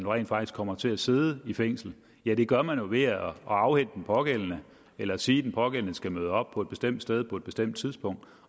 rent faktisk kommer til at sidde i fængsel ja det gør man jo ved at afhente den pågældende eller sige at den pågældende skal møde op på et bestemt sted på et bestemt tidspunkt